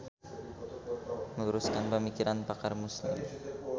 Meluruskan Pamikiran Pakar Muslim.